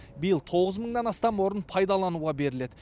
биыл тоғыз мыңнан астам орын пайдалануға беріледі